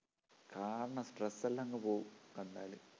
കാണണം stress എല്ലാംഅങ്ങു പോവും കണ്ടാല്